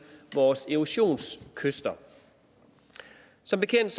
vores erosionskyster som bekendt